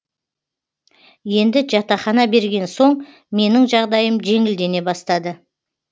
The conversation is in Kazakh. енді жатақхана берген соң менің жағдайым жеңілдене бастады